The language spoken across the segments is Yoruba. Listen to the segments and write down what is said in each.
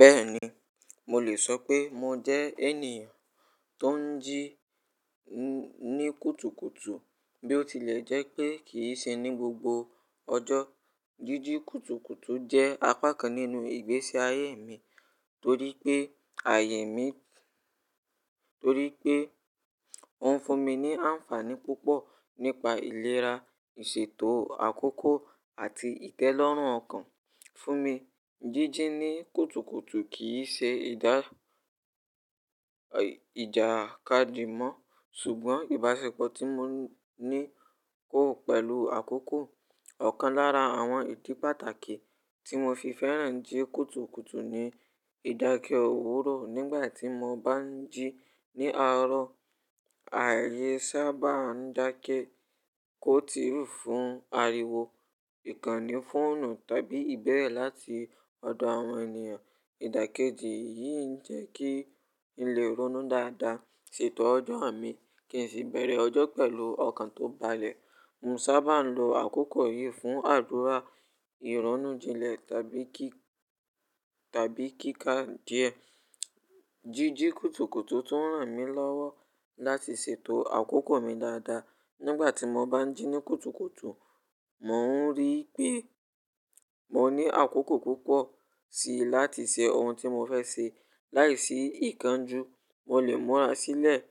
Bẹ́ẹ̀ni, mo lè sọ pé mo jẹ́ ènìyàn tó ń jí ní kùtùkùtù bí ó tilẹ̀ jẹ́ pé kì í ṣe ní gbogbo ọjọ́. Jíjí kùtùkùtù jẹ́ apá kan nínú ìgbésí ayé mi torí pé ayé mi, torí pé ó ń fún mi ní àǹfààní púpọ̀ nípa ìlera, ìṣètò àkókò àti ìtẹ́lọ́rùn ọkàn fún mi. Jíjí ní kùtùkùtù kì í ṣe ìjàkadì mọ́ ṣùgbọ́n ìbáṣepọ̀ tí mo ní kó pẹ̀lú àkókò. Ọ̀kan lára àwọn ìdí pàtàkì tí mo fi fẹ́ràn jí kùtùkùtù ni ìdákẹ́ òwúrọ̀ nígbà tí mo bá ń jí ní àárọ̀, ààyè sábà ń dákẹ́ kó ti fún ariwo, ìkànnì fóònù tàbí ìbéèrè láti ọ̀dọ̀ àwọn ènìyàn. Ìdàkejì yìí ń jẹ́ kí n lè ronú dáadáa, ṣètò ọjọ́ mi kí n sì bẹ̀rẹ̀ ọjọ́ pẹ̀lú ọkàn tó balẹ̀. Mo sábà ń lo àkókò yìí fún àdúrà, ìránnú jinlẹ̀ tàbí kíka díẹ̀. Jíjí kùtùkùtù tún ràn mí lọ́wọ́ láti ṣètò àkókò mi dáadáa. Nígbà tí mo bá ń jí ní kùtùkùtù, mò ń rí pé mo ní àkókò púpọ̀ síi láti ṣe ohun tí mo fẹ́ ṣe láìsí ìkánjú. Mo lè múra sílẹ̀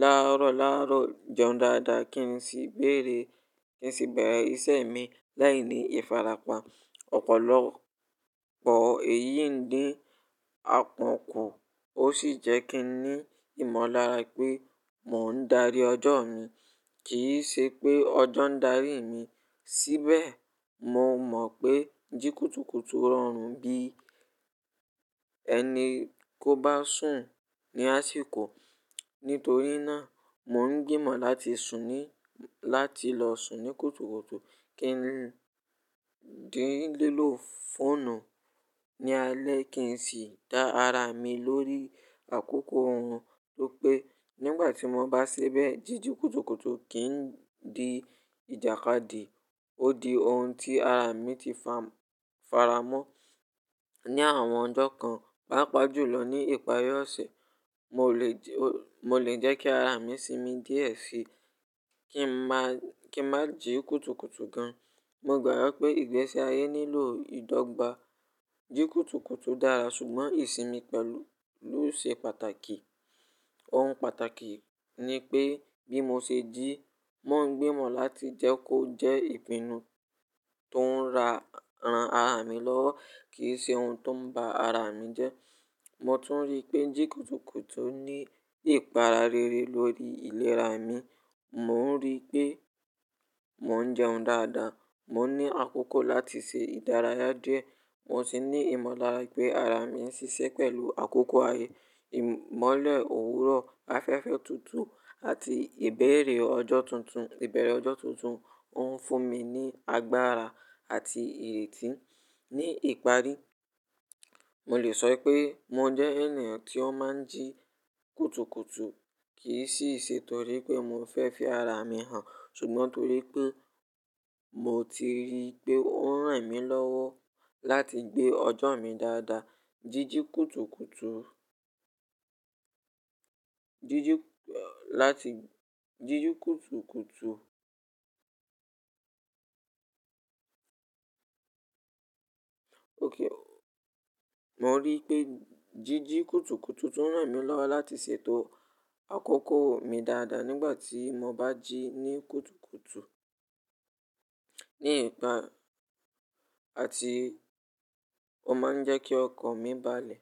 láàárọ̀ láàárọ̀, jẹun dáadáa kí n sì bere bẹ̀rẹ̀ iṣẹ́ mi láìní ìfarapa. Ọ̀pọ̀lọpọ̀ èyí ń dín akànkọ́ ó sì jẹ́ kí n ní ìmọ̀lára pé mò ń darí ọjọ́ mi kì í ṣe pé ọjọ́ ń darí mi. Síbẹ̀, mo mọ̀ pé jí kùtùkùtù rọrùn bí ẹni kó bá sùn ní àsìkò. Nítorí náà, mò ń gbìmọ̀ láti lọ sùn ní kùtùkùtù kí n lè dín lélò fọ́ònù ní alẹ́ kí n sì dá ara mi lórí àkókò òrun to pe Nígbà tí mo bá ṣe bẹ́ẹ̀, jíjí kùtùkùtù kì í di ìjàkadì, ó di ohun tí ara mi ti faramọ́. Ní àwọn ọjọ́ kan, pàápàá jùlọ ní ìparí ọ̀sẹ̀ mo le mo lè jẹ́ kí ara mi sinmi díẹ̀ síí kí n má jí kùtùkùtù gan. Mo gbàgbọ́ pé ìgbésí ayé nílò ìdọ́gba. Jí kùtùkùtù dára ṣùgbọ́n ìsinmi pẹ̀lú ló ṣe pàtàkì. Ohun pàtàkì ni pé bí mo ṣe jí, mò ń gbìmọ̀ láti jẹ́ kó jẹ́ ìpinnu tó ń ran ara mi lọ́wọ́ kì í ṣe ohun tó ń ba ara mi jẹ́. Mò tún rí pé jí kùtùkùtù ní ìpara rere lórí ìlera mi. Mò ń rí pé mò ń jẹun dáadáa, mò ń ní àkókò láti ṣe ìdárayá díẹ̀, mo sì ní ìmọ̀lára pé ara mi ń ṣiṣẹ́ pẹ̀lú àkókò ààyè. Ìmọ́lẹ̀ òwúrọ̀, afẹ́fẹ́ tuntun àti ibeere ojo tuntun ìbẹ̀rẹ̀ ọjọ́ tuntun ó ń fún mi ní agbára àti ìrètí. Ní ìparí, mo lè sọ pé mo jẹ́ ènìyàn tí ó má ń jí kùtùkùtù kì í sì ṣe torí pé mo fẹ́ fi ara mi hàn ṣùgbọ́n torí pé mo ti rí pé ó ń ràn mí lọ́wọ́ láti gbé ọjọ́ mi dáadáa. Jíjí kùtùkùtù jiji lati jiji kutukutu mò ń rí pé jíjí kùtùkùtù tún ràn mí lọ́wọ́ láti ṣètò àkókò mi dáadáa nígbà tí mo bá jí ní kùtùkùtù àti ó máa ń jẹ́ kí ọkàn mi balẹ̀.